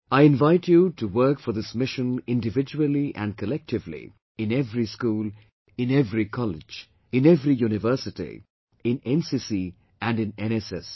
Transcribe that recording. I invite you to work for this mission individually and collectively in every school, in every college, in every university, in NCC and in NSS